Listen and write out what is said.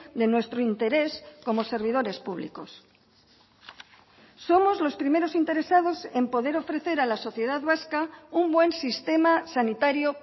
de nuestro interés como servidores públicos somos los primeros interesados en poder ofrecer a la sociedad vasca un buen sistema sanitario